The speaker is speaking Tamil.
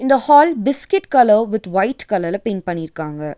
The hall biscuit colour with white கலர்ல பெயிண்ட் பண்ணி இருக்காங்க.